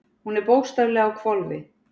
Hún er bókstaflega á hvolfi.